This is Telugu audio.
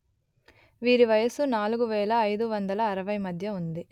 వీరి వయసు నాలుగు వెలు అయిదు వందలు అరవై మధ్య ఉంది